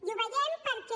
i ho veiem perquè